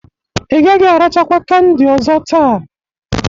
Ị gaghị arachakwa kandị ọzọ taa.